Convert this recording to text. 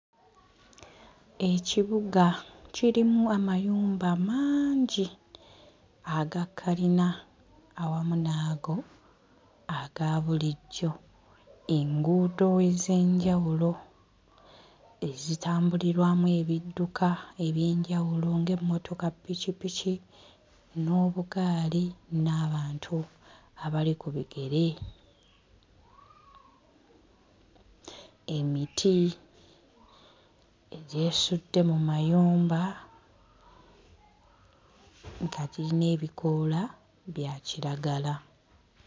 Ekibuga kirimu amayumba mangi aga kkalina awamu n'ago aga bulijjo enguudo ez'enjawulo ezitambulirwamu ebidduka eby'enjawulo ng'emmotoka ppikippiki n'obugaali n'abantu abali ku bigere emiti egyesudde mu mayumba nga giyina ebikoola bya kiragala.